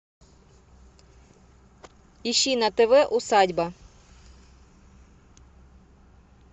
ищи на тв усадьба